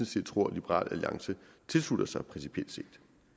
set tror liberal alliance tilslutter sig principielt set